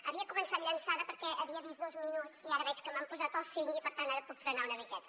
havia començat llançada perquè havia vist dos minuts i ara veig que m’han posat els cinc i per tant ara puc frenar una miqueta